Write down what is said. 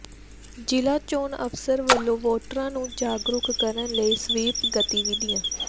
ਜ਼ਿਲਾ ਚੋਣ ਅਫ਼ਸਰ ਵੱਲੋਂ ਵੋਟਰਾਂ ਨੂੰ ਜਾਗਰੂਕ ਕਰਨ ਲਈ ਸਵੀਪ ਗਤੀਵਿਧੀਆਂ